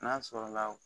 N'a sɔrɔ la